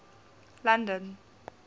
london